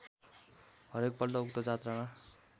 हरेकपल्ट उक्त जात्रामा